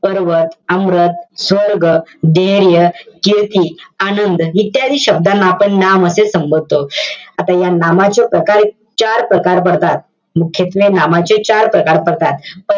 पर्वत, स्वर्ग, धैर्य, कीर्ती, आनंद उत्यादी शब्दांना आपण नाम असे संबोधतो. आता या नामाचे प्रकार~ चार प्रकार पडतात. मुख्यत्वे नामाचे चार प्रकार पडतात.